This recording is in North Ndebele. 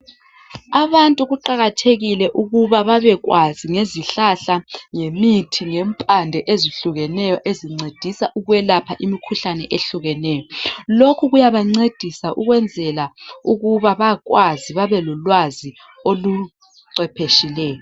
Abantu kuqakathekile ukuba babekwazi ngezihlahla, ngemithi lempande ezihlukeneyo ezincedisa ukwelapha imikhuhlane eyehlukeneyo. Lokhu kuyabancedisa ukwenzela ukuba bakwazi babelolwazi oluchwepheshileyo.